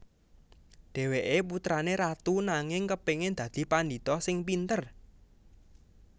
Dhèwèké putrané ratu nanging kepéngin dadi pandhita sing pinter